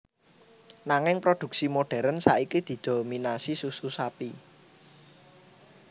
Nanging produksi modèrn saiki didominasi susu sapi